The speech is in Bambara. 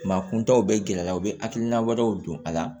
Maa kuntaw bɛ gɛrɛ a la u bɛ hakilina wɛrɛw don a la